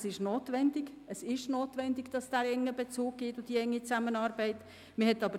Sie haben völlig recht, dass ein enger Bezug und eine enge Zusammenarbeit nötig sind.